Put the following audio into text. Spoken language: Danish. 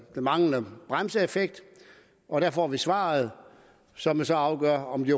manglende bremseeffekt og der får vi svaret som så afgør om de